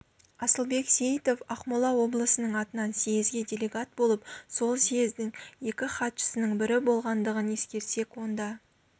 асылбек сейітов ақмола облысының атынан съезге делегат болып сол съездің екі хатшысының бірі болғандығын ескерсек онда